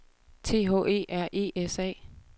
T H E R E S A